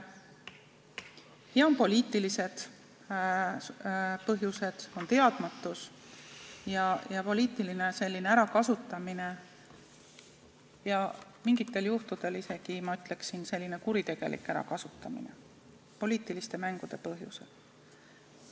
Ja on ka poliitilised põhjused, on teadmatus ja poliitiline ärakasutamine, mingitel juhtudel, ma ütleksin, isegi kuritegelik ärakasutamine poliitiliste mängude tõttu.